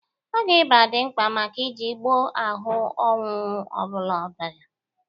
Ọgwụ ịba dị mkpa maka iji gboo ahụ ọnwụnwụ ọbụla ọbiara.